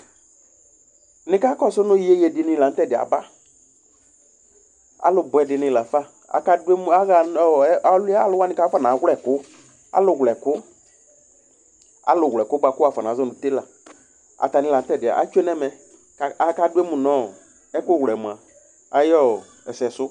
Nika kɔsʋ nʋ iyeye dini la nʋ tɛdɩɛ aba Alubʋɛ dini lafa Aluwlɛkʋ bʋakʋ wuafɔ nazɔ nʋ telǝ, atani la nʋ tɛdɩɛ atsʋe nʋ ɛmɛ, kʋ akaduemu nʋ ɛkʋwlɛ ayʋ ɛsɛsʋ